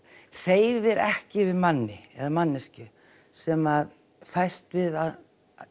hreyfir ekki við manni eða manneskju sem fæst við að